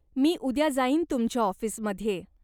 मी उद्या जाईन तुमच्या ऑफिसमध्ये.